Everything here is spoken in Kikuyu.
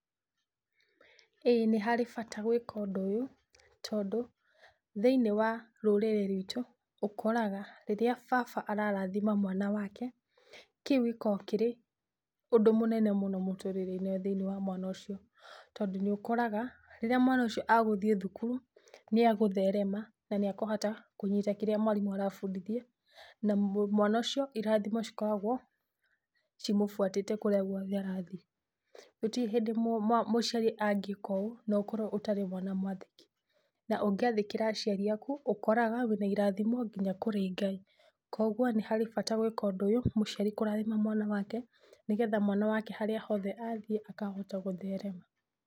Ĩĩ nĩ harĩ bata gwĩka ũndũ ũyũ, tondũ thĩiniĩ wa rũrĩrĩ rwitũ ũkoraga rĩrĩa baba ararathima mwana wake, kĩu gĩkoragwo kĩrĩ ũndũ mũnene mũno mũtũrĩre-inĩ thĩiniĩ wa mwana ũcio, tondũ nĩũkoraga rĩrĩa mwana ũcio agũthiĩ thukuru nĩagũtherema na nĩakũhota kũnyita kĩrĩa mwarĩmũ arabundithia na mwana ũcio irathimo cikoragwo cimũbuatĩte kũrĩa guothe arathiĩ. Gũtirĩ hĩndĩ mũciari angĩka ũũ nokorwo ũtarĩ mwana mwathĩki, na ũngĩathĩkĩra aciari aku ũkoraga wĩna irathimo nginya kũrĩ Ngai. Kwogwo nĩ harĩ bata gwĩka ũndũ ũyũ, mũciari kũrathima mwana wake nĩgetha mwana wake harĩa hothe athiĩ akahota gũtherema.